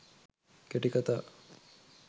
කෙටි කථා